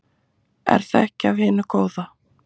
Er það ekki af hinu góða?